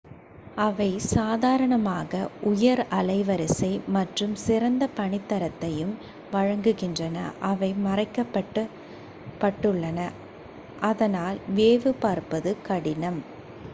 அவை சாதாரணமாக உயர் அலைவரிசை மற்றும் சிறந்த பணித்தரத்தையும் வழங்குகின்றன அவை மறைக்கப் பட்டுள்ளன அதனால் வேவு பார்ப்பது கடினம்